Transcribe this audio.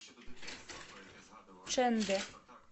чэндэ